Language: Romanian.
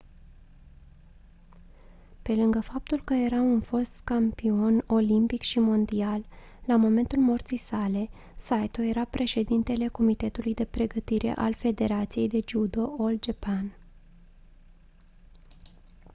pe lângă faptul că era un fost campion olimpic și mondial la momentul morții sale saito era președintele comitetului de pregătire al federației de judo all japan